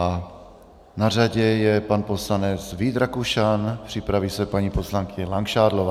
A na řadě je pan poslanec Vít Rakušan, připraví se paní poslankyně Langšádlová.